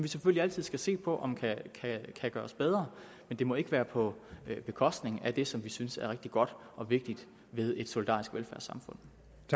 selvfølgelig altid se på om det kan gøres bedre men det må ikke være på bekostning af det som vi synes er rigtig godt og vigtigt ved et solidarisk velfærdssamfund